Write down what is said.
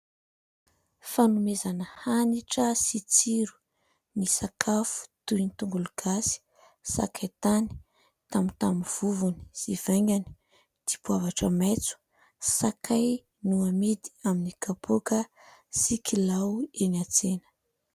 Fanomezana hanitra sy tsiro ny sakafo toy ny : tongologasy, sakaitany, tamotamo vovony sy vaingany, dipoavatra maitso, sakay no amidy amin'ny kapaoka sy kilao eny an-tsena.